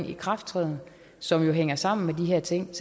ikrafttræden som jo hænger sammen med de her ting der